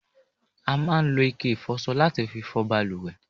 a máa ń lo ike ìfọsọ láti fi fọ baluwẹ̀